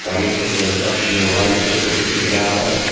सामने से एक लड़का अपने मोबाइल से फोटो खींच रहा है।